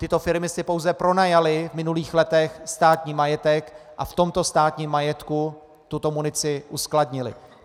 Tyto firmy si pouze pronajaly v minulých letech státní majetek a v tomto státním majetku tuto munici uskladnily.